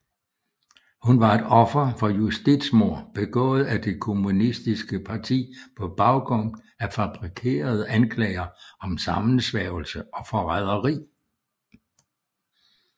Hun var et offer for justitsmord begået af det kommunistiske parti på baggrund af fabrikerede anklager om sammensværgelse og forræderi